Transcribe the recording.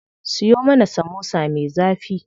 Siyo mana samosa me zafi.